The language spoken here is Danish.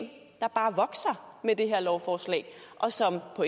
der bare vokser med det her lovforslag og som på